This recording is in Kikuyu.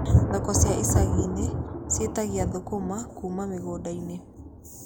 Thoko cia icagi-inĩ ciĩtagia thũkũma kuuma mĩgunda-inĩ.